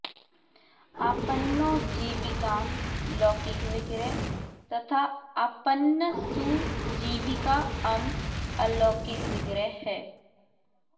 आपन्नो जीविकाम् लौकिक विग्रह तथा आपन्न सु जीविका अम् अलौकिक विग्रह है